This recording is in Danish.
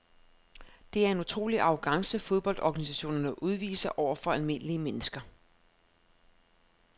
Det er en utrolig arrogance fodboldorganisationerne udviser over for almindelige mennesker.